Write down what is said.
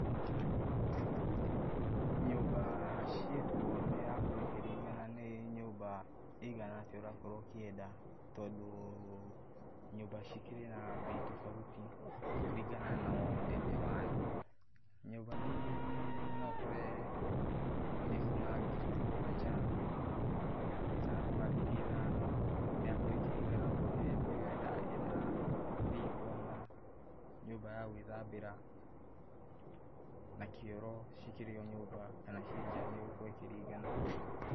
Nyũmba ciĩkuo nĩrakorwo ĩkĩrigana nĩ nyũmba ĩigana atĩa ũrakorwo ũkĩenda, tondũ nyũmba cikĩrĩ na mbei tofauti kũringana na ũnene wayo, nyũmba nyingĩ no ũkore nĩ kũma ngiri mũgwanja kana kuma ngiri ithano, nĩrakorwo ĩkĩringana angĩkorwo ũrenda ĩna riko na nyumba ya gwĩthambĩra, na kĩoro ci kĩrĩ o nyumba kana ciĩ njaa nĩ ĩgũkorwo ĩkĩringana.